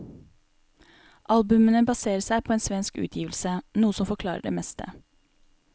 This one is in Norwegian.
Albumene baserer seg på en svensk utgivelse, noe som forklarer det meste.